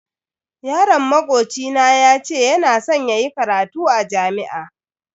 Yaron makoci na yace yana san yayi karatu a jami'a.